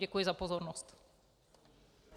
Děkuji za pozornost.